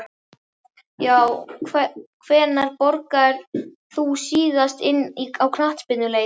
já Hvenær borgaðir þú þig síðast inn á knattspyrnuleik?